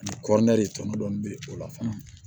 Ani kɔɔri tɔnɔ dɔɔni bɛ o la fana